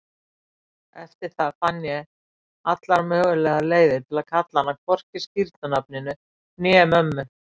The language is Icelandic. Eftir það fann ég allar mögulegar leiðir til að kalla hana hvorki skírnarnafninu né mömmu.